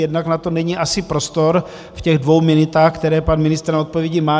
Jednak na to asi není prostor v těch dvou minutách, které pan ministr na odpovědi má.